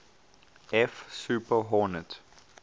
f super hornet